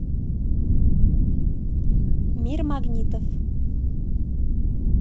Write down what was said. мир магнитов